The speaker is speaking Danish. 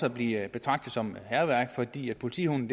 at blive betragtet som hærværk fordi politihunden